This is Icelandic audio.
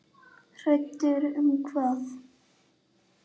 Hræddur um hvað?